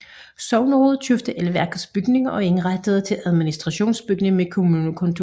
Sognerådet købte elværkets bygning og indrettede det til administrationsbygning med kommunekontor